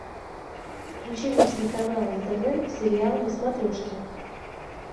включи мне телеканал нтв сериал на смотрешке